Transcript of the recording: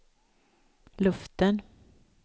luften